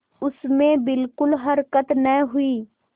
उसमें बिलकुल हरकत न हुई